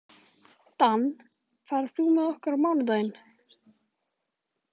Dan, ferð þú með okkur á mánudaginn?